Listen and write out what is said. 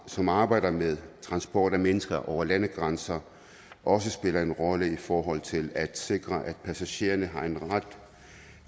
som arbejder med transport af mennesker over landegrænser også spiller en rolle i forhold til at sikre at passagererne også har en ret